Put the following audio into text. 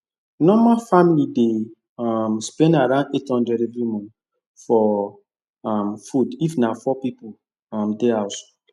normal family dey um spend around eight hundred every month for um food if na four people um dey house